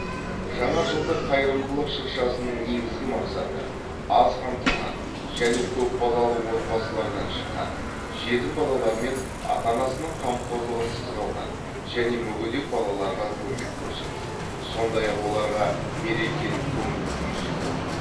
жаңа жылдық қайырымдылық шыршасының негізгі мақсаты аз қамтылған және көпбалалы отбасылардан шыққан жетім балалар мен ата анасының қамқорлығынсыз қалған және мүгедек балаларға көмек көрсету сондай ақ оларға мерекелік көңіл күй сыйлау